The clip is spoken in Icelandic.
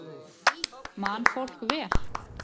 Man fólk vel?